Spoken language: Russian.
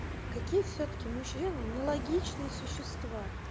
какие всё-таки мужчины нелогичные существа